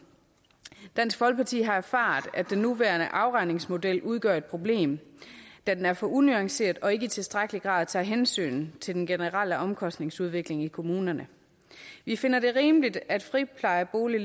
dansk folkeparti har erfaret at den nuværende afregningsmodel udgør et problem da den er for unuanceret og ikke i tilstrækkelig grad tager hensyn til den generelle omkostningsudvikling i kommunerne vi finder det rimeligt at leverandører af friplejeboliger